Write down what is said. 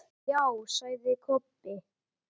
Já, sagði Kobbi.